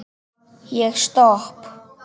Ég stopp